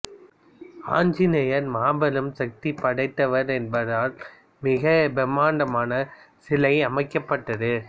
ஆஞ்சநேயர் மாபெரும் சக்தி படைத்தவர் என்பதால் மிகப்பிரமாண்டமான சிலை அமைக்கப்பட்டது